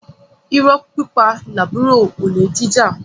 Irọ́ pípa làbúrò olè jíjà